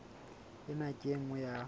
ena ke e nngwe ya